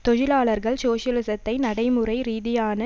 தொழிலாளர்கள் சோசலிசத்தை நடைமுறை ரீதியான